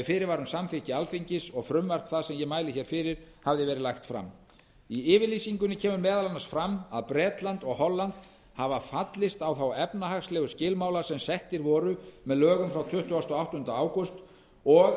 um samþykki alþingi og frumvarp það sem ég mæli hér fyrir hafði verið lagt fram í yfirlýsingunni kemur bera annars fram að bretland og holland hafi fallist á þá efnahagslegu skilmála sem settir voru með lögunum frá tuttugasta og áttunda ágúst og